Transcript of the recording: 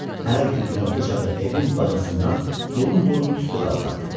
Hər gün günorta çağı evin bacasından burum-burum tüstü qalxardı.